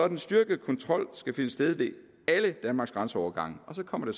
den styrkede kontrol skal finde sted ved alle danmarks grænseovergange og så kommer det